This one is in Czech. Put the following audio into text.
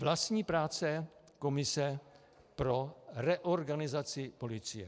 Vlastní práce komise pro reorganizaci policie.